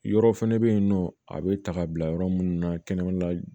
Yɔrɔ fɛnɛ be yen nɔ a be ta ka bila yɔrɔ munnu na kɛnɛmana la